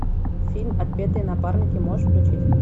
фильм отпетые напарники можешь включить